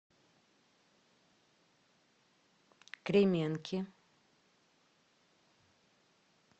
кременки